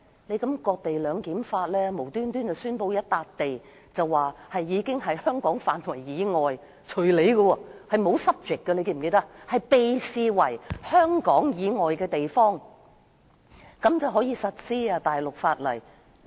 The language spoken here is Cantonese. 這種"割地兩檢"的做法，即突然宣布某幅土地屬於香港範圍以外，條文中並無 subject， 只說"視為處於香港以外"的地方，然後那個地方便可實施大陸法例......